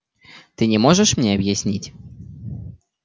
ты не можешь мне объяснить